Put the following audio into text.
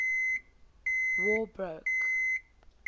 war broke